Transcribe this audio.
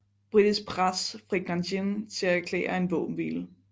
Britisk pres fik Nanjing til at erklære en våbenhvile